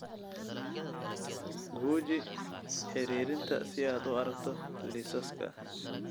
Guji xiriirinta si aad u aragto liisaska.